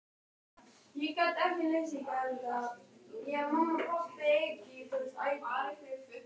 Og svo er það þessi sem kom seinna.